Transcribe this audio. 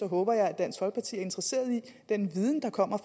håber at dansk folkeparti er interesseret i den viden der kommer